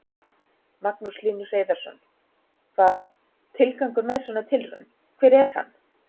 Magnús Hlynur Hreiðarsson: Hvað, tilgangur með svona tilraun, hver er hann?